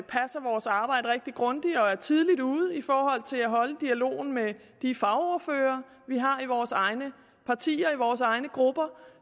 vores arbejde rigtig grundigt og er tidligt ude i forhold til at holde dialogen med de fagordførere vi har i vores egne partier i vores egne grupper